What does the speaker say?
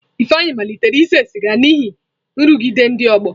Ifeanyi malitere ise siga n'ihi nrụgide ndị ọgbọ.